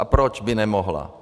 A proč by nemohla?